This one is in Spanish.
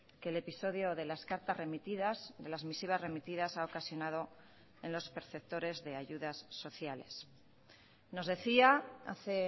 que el episodio de las cartas remitidas de las misivas remitidas ha ocasionado en los perceptores de ayudas sociales nos decía hace